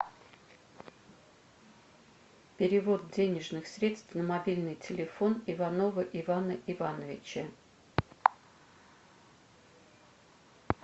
перевод денежных средств на мобильный телефон иванова ивана ивановича